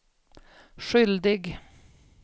skyldig